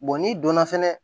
n'i donna fɛnɛ